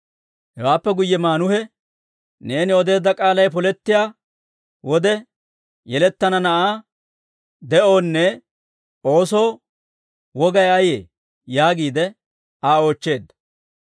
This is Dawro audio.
Hewaappe guyye Maanuhe, «Neeni odeedda k'aalay polettiyaa wode, yelettana na'aa de'oonne oosoo wogay ayee?» yaagiide Aa oochcheedda.